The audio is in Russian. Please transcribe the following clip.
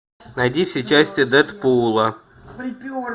найди все части дэдпула